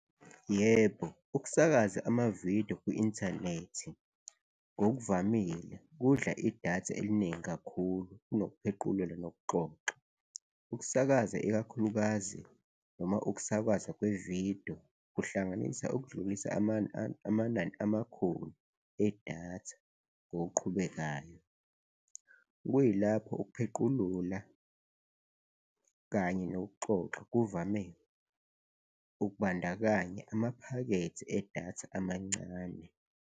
Yebo, ukusakaza amavidiyo kwi-inthanethi ngokuvamile kudla idatha eliningi kakhulu kunokuphequlula nokuxoxa. Ukusakaza, ikakhulukazi noma ukusakazwa kwevidiyo kuhlanganisa ukudlulisa amanani amakhulu edatha ngokuqhubekayo, kuyilapho ukuphequlula kanye nokuxoxa kuvame ukubandakanya amaphakethe edatha amancane.